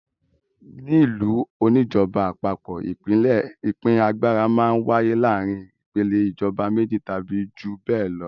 Nílùú oníjọba àpapọ̀ ìpín agbára máa ń wáyé láàárin ìpèlè ìjọba méjì tàbí ju bẹ́ẹ̀ lọ.